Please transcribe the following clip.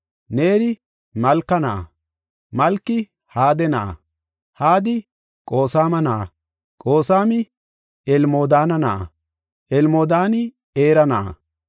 Neeri Malka na7a, Malki Hade na7a, Hadi Qoosama na7a, Qoosami Elmodaana na7a, Elmodaani Era na7a,